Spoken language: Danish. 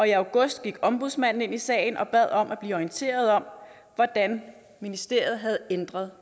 i august gik ombudsmanden ind i sagen og bad om at blive orienteret om hvordan ministeriet havde ændret